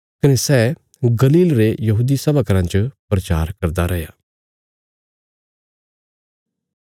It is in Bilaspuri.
कने सै गलील रे यहूदी सभा घराँ च प्रचार करदा रैया